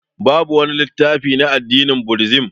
Babu wani littafi na addinin budizim